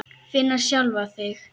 Finna sjálfa sig.